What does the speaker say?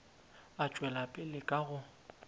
a tšwela pele ka go